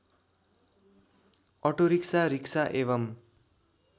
auto rickshaw rickshaw एवं